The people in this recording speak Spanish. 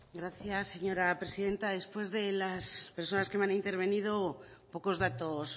gracias señora presidenta después de las personas que han intervenido pocos datos